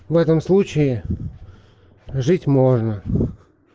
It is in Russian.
в этом случае жить можно